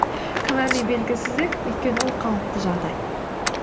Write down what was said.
күмән мен белгісіздік өйткені ол қалыпты жағдай